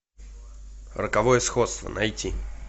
роковое сходство найти